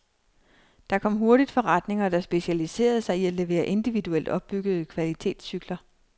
Der kom hurtigt forretninger, der specialiserede sig i at levere individuelt opbyggede kvalitetscykler.